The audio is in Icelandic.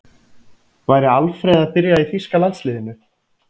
Væri Alfreð að byrja í þýska landsliðinu?